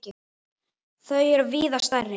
Þau er víða stærri.